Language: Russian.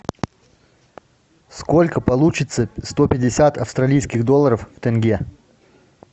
сколько получится сто пятьдесят австралийских долларов в тенге